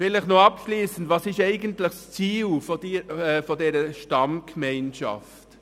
Vielleicht noch abschliessend: Was ist eigentlich das Ziel dieser Stammgemeinschaft?